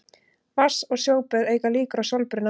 Vatns- og sjóböð auka líkur á sólbruna.